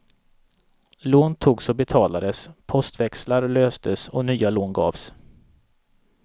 Lån togs och betalades, postväxlar löstes och nya lån gavs.